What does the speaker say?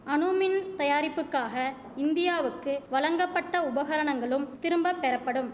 அணுமின் தயாரிப்புக்காக இந்தியாவுக்கு வழங்கப்பட்ட உபகரணங்களும் திரும்ப பெறப்படும்